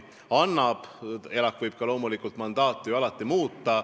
ELAK võib loomulikult oma mandaati alati muuta.